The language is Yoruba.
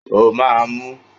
O máa mú!